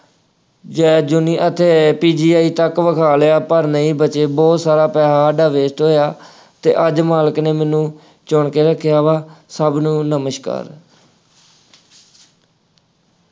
ਜੈ ਜੂਨੀ ਅਤੇ PGI ਤੱਕ ਵਿਖਾ ਲਿਆ ਪਰ ਨਹੀਂ ਬਚੇ, ਬਹੁਤ ਸਾਰਾ ਪੈਸਾ ਸਾਡਾ waste ਹੋਇਆ ਅਤੇ ਅੱਜ ਮਾਲਕ ਨੇ ਮੈਨੂੰ ਚੁਣ ਕੇ ਰੱਖਿਆ ਵਾ, ਸਭ ਨੂੰ ਨਮਸਕਾਰ।